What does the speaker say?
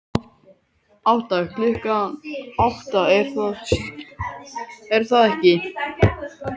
Átta, klukkan átta, er það ekki?